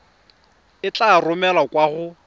e tla romelwa kwa go